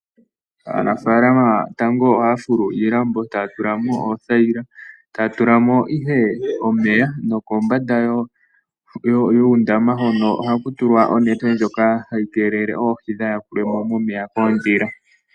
Aanafaalama tango ohaya fulu iilambo, taya tula mo oothaila , ta ya tula mo ihe omeya, nokombanda yuundama hono ohaku tulwa onete ndjoka hayi keelele oohi kaa dhi yakulwe mo koondhila.